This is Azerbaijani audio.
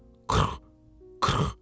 Qırrx, qırrx.